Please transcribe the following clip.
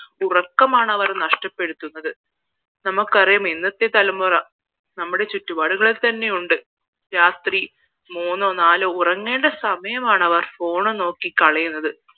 ഉറക്കമാണ് അവർ നഷ്ട്ടപ്പെടുത്തുന്നത് നമുക്കറിയാം ഇന്നത്തെ തലമുറ നമ്മുടെ ചുറ്റുപാടുകളിൽ തന്നെയുണ്ട് രാത്രി മൂന്നോ നാലോ ഉറങ്ങേണ്ട സമയമാണ് അവർ phone നോക്കി കളയുന്നത്